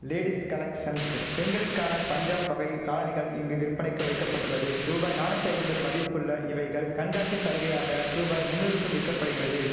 ladies collections பெண்களுக்கான பஞ்சாப் வகை காலணிகள் இங்கு விற்பனைக்கு வைக்க பட்டுள்ளது ரூபாய் நானூத்து ஐம்பது மதிப்புள்ள இவைகள் கண்காட்சி சலுகையாக ரூபாய் மூன்னூறுக்கும் விற்கப்படுகிறது